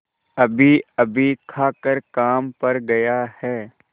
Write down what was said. अभीअभी खाकर काम पर गया है